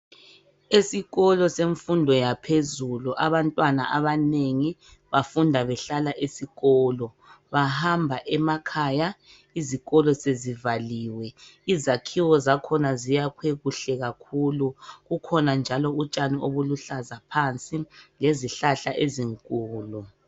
Esikolo semfundo yaphezulu abantwana abanengi bafunda behlala esikolo bahamba emakhaya izikolo sezivaliwe izakhiwo zakhona ziyakhwe kuhle kakhulu kukhona njalo utshani obuluhlaza phansi lezihlahla ezinkulu.